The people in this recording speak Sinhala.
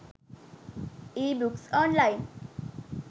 ebooks online